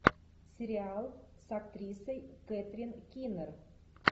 сериал с актрисой кэтрин кинер